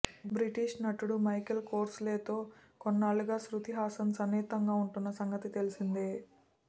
British నటుడు Michael కోర్సలేతో కొన్నేళ్లుగా శ్రుతి హాసన్ సన్నిహితంగా ఉంటున్న సంగతి తెలిసిందే